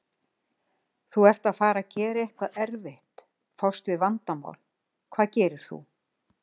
Þú ert að fara að gera eitthvað erfitt, fást við vandamál, hvað gerir þú?